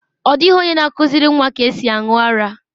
Ọ dịghị onye na-akụziri nwa ka esi aṅụ ara.